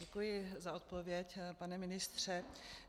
Děkuji za odpověď, pane ministře.